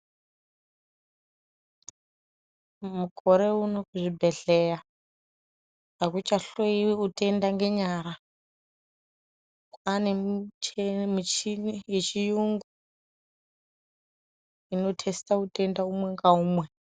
Mukore wuno kuzvibhedhleya, akuchahloyiwi wutenda ngenyara. Kwanemichini yechiyungu inothesita wutenda wumwe ngawumwe.